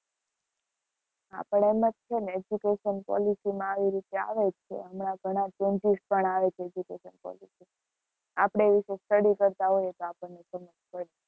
અપડે એમ જ છે ને education policy માં આવી રીતે આવે જ છે હમણાં ઘણાં changes પણ આવે છે education policy માં આપડે એવી રીતે study કરતા હોય તો આપણ ને ખબર પડે.